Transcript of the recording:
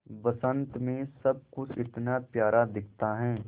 बसंत मे सब कुछ इतना प्यारा दिखता है